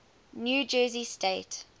new jersey state